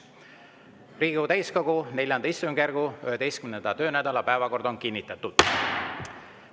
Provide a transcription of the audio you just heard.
Riigikogu täiskogu IV istungjärgu 11. töönädala päevakord on kinnitatud.